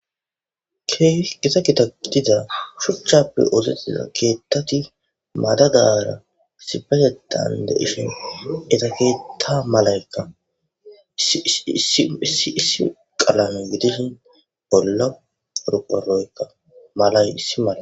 Keehipe githa gidiza shuchchape ooseththida keeththathi madadaara issippetheththan de7ishe etha keeththaa malaykka issi issi qalame gidizi bolla qorqqoroykka malay issi mala.